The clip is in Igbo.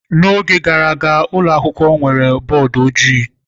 N'oge gara aga, ụlọ akwụkwọ nwere bọọdụ ojii.